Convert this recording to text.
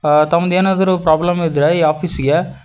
ಆ ತಮ್ಮದೇನಾದ್ರೂ ಪ್ರಾಬ್ಲಮ್ ಇದ್ರೆ ಈ ಆಫೀಸಿಗೆ--